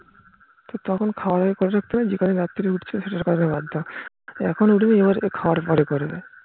তা তখন খাওয়ার আগে করতে পারোনি যে কদিন রাত্রে উঠছো সেটার কথা বাদ দাও এখন উঠবে খাওয়ার পরে করবে